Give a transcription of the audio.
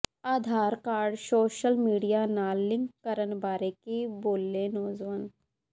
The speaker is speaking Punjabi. ਆਧਾਰ ਕਾਰਡ ਸੋਸ਼ਲ ਮੀਡੀਆ ਨਾਲ ਲਿੰਕ ਕਰਨ ਬਾਰੇ ਕੀ ਬੋਲੇ ਨੌਜਵਾਨ